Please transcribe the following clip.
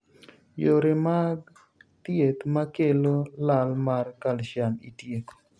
Yore mag thieth makelo lal mar calcium itieko.